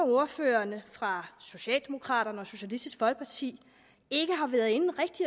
at ordførerne fra socialdemokraterne og socialistisk folkeparti ikke har været inde